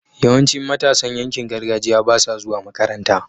yawancin matasan yankin gargajiya basa zuwa makaranta